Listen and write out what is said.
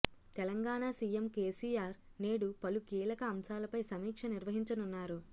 Telangana CM KCR నేడు పలు కీలక అంశాలపై సమీక్ష నిర్వహించనున్నారు